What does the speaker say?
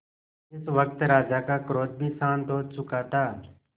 इस वक्त राजा का क्रोध भी शांत हो चुका था